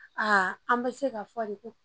an bɛ se k'a fɔ de ko